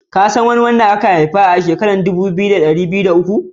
Ka san kowa da an haifa a'shekaran dubu biyu da dari biyu da uku?